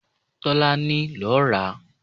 Tọ́lá ni ló ra